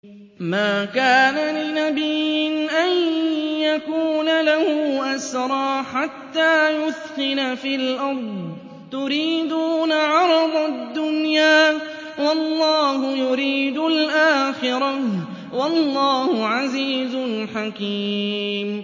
مَا كَانَ لِنَبِيٍّ أَن يَكُونَ لَهُ أَسْرَىٰ حَتَّىٰ يُثْخِنَ فِي الْأَرْضِ ۚ تُرِيدُونَ عَرَضَ الدُّنْيَا وَاللَّهُ يُرِيدُ الْآخِرَةَ ۗ وَاللَّهُ عَزِيزٌ حَكِيمٌ